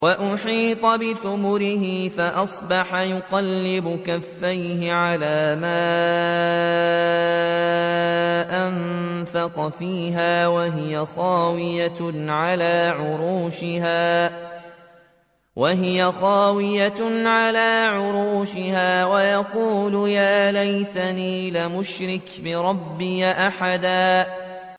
وَأُحِيطَ بِثَمَرِهِ فَأَصْبَحَ يُقَلِّبُ كَفَّيْهِ عَلَىٰ مَا أَنفَقَ فِيهَا وَهِيَ خَاوِيَةٌ عَلَىٰ عُرُوشِهَا وَيَقُولُ يَا لَيْتَنِي لَمْ أُشْرِكْ بِرَبِّي أَحَدًا